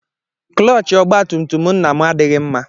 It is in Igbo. Klọọchị ọgbatùmtùm nna m adịghị mma.